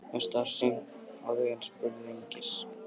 Mér varð starsýnt á þau en spurði einskis.